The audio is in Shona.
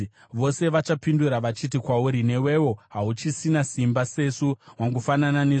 Vose vachapindura, vachati kwauri, “Newewo hauchisina simba, sesu; wangofanana nesu.”